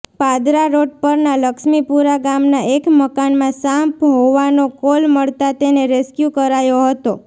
Padra road પરના લક્ષ્મીપુરા ગામના એક મકાનમાં સાંપ હોવાનો કોલ મળતા તેને રેસ્કયુ કરાયો હતો